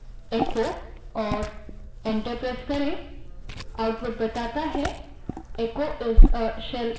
type space echo और enter दबायें